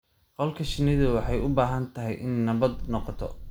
Qolka shinnida waxay u baahan tahay inay nabad noqoto.